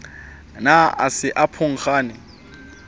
ne a se a phunkgane